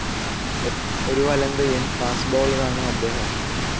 ഒരു വലംകൈയ്യൻ ഫാസ്റ്റ്‌ ബൗളറാണ് അദ്ദേഹം.